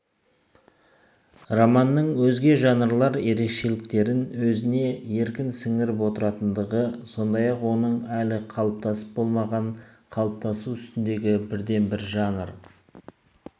романның өзге жанрлар ерекшеліктерін өзіне еркін сіңіріп отыратындағы сондай-ақ оның әлі қалыптасып болмаған қалыптасу үстіндегі бірден бір жанр